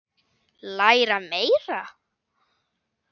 Læra meira?